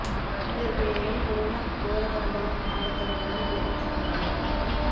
இதற்கு மேலும் கொரோனா கோர தாண்டவம் ஆடத் தொடங்கினால் உலகம் தாங்காது